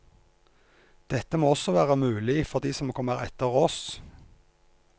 Dette må også være mulig for de som kommer etter oss.